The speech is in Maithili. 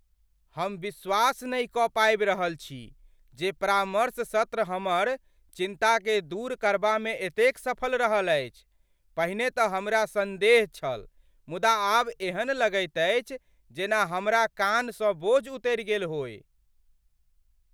हम विश्वास नहि कऽ पाबि रहल छी जे परामर्श सत्र हमर चिन्ताकेँ दूर करबामे एतेक सफल रहल अछि। पहिने तऽ हमरा सन्देह छल मुदा आब एहन लगैत अछि जेना हमरा कान्हसँ बोझ उतरि गेल होअय।